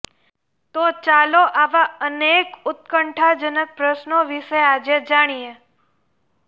તો ચાલો આવા અનેક ઉત્કંઠાજનક પ્રશ્નો વિશે આજે જાણીએ